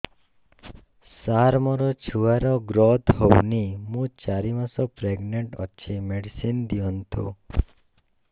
ସାର ମୋର ଛୁଆ ର ଗ୍ରୋଥ ହଉନି ମୁ ଚାରି ମାସ ପ୍ରେଗନାଂଟ ଅଛି ମେଡିସିନ ଦିଅନ୍ତୁ